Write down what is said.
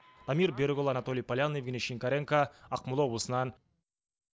дамир берікұлы анатолий полянный евгений шинкаренко ақмола облысынан